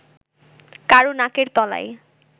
কারও নাকের তলায়